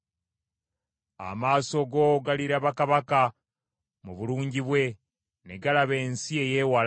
Amaaso go galiraba kabaka mu bulungi bwe, ne galaba ensi eyeewala.